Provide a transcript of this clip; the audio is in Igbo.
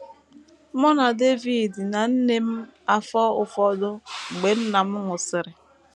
Mụ na David na nne m afọ ụfọdụ mgbe nna m nwụsịrị